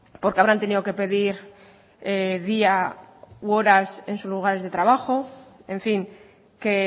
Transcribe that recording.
porque habrán tenido que pedir día u horas en sus lugares de trabajo en fin que